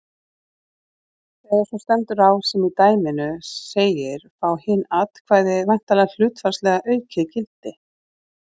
Þegar svo stendur á sem í dæminu segir fá hin atkvæði væntanlega hlutfallslega aukið gildi.